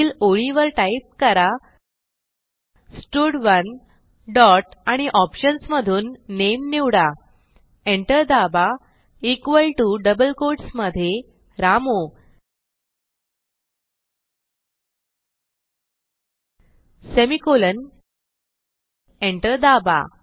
पुढील ओळीवर टाईप करा स्टड1 डॉट आणि ऑप्शन्स मधून नामे निवडा एंटर दाबा इक्वॉल टीओ डबल कोट्स मधे रामू सेमिकोलॉन एंटर दाबा